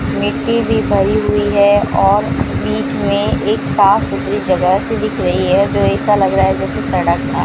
मिट्टी भी भरी हुई है और बिच में एक साफ सुथरी जगह सी दिख रही है जो ऐसा लग रहा है जैसे सडक था।